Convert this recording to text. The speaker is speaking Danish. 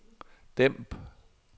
dæmp